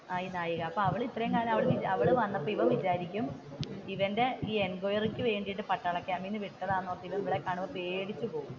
ആഹ് ഈ നായിക ഇവന്റെ എൻകോയറി ക്ക് വേണ്ടിയിട്ട് വിട്ടതാണോ ഇവളെ കാണുമ്പോൾ പേടിച്ചു പോവും.